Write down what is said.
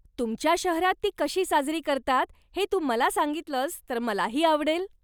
तुमच्या शहरात ती कशी साजरी करतात हे तू मला सांगितलस तर मलाही आवडेल.